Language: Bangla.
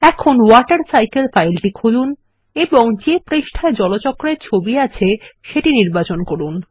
এখন ওয়াটারসাইকেল ফাইলটি খুলুন এবং যে পৃষ্ঠায় জলচক্রের ছবি আছে সেটি নির্বাচন করুন